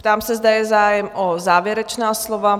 Ptám se, zda je zájem o závěrečná slova?